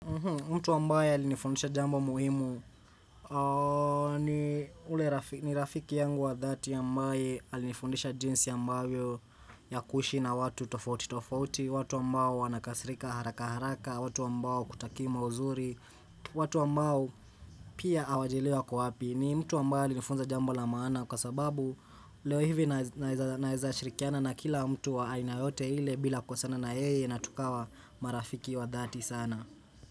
Mtu ambaye alinifundisha jambo muhimu ni rafiki yangu wa dhati ambaye alinifundisha jinsi ambavyo ya kuishi na watu tofauti tofauti, watu ambao wanakasirika haraka haraka, watu ambao hawakutakii mauzuri, watu ambao pia hawajilewi wako wapi. Ni mtu ambaye alinifunza jambo la maana kwa sababu leo hivi naeza shirikiana na kila mtu wa aina yoyote ile bila kukosana na yeye na tukawa marafiki wa dhati sana.